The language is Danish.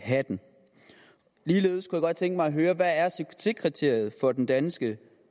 hatten ligeledes kunne jeg godt tænke mig at høre hvad er succeskriteriet for den danske